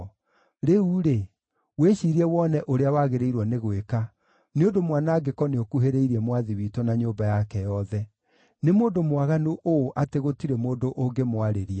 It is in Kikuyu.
Rĩu-rĩ, wĩciirie wone ũrĩa wagĩrĩirwo nĩ gwĩka, nĩ ũndũ mwanangĩko nĩũkuhĩrĩirie mwathi witũ na nyũmba yake yothe. Nĩ mũndũ mwaganu ũũ atĩ gũtirĩ mũndũ ũngĩmwarĩria.”